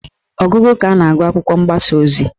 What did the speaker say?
Ọgụgụ ka a na-agụ akwụkwọ mgbasa ozi